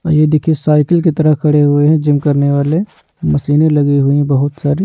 आइए देखिए साइकिल की तरह खड़े हुए हैं जिम करने वाले मशीने लगी हुई है बहुत सारी।